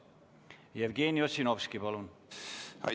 Jevgeni Ossinovski, palun!